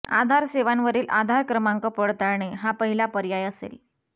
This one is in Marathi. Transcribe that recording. आधार सेवांवरील आधार क्रमांक पडताळणे हा पहिला पर्याय असेल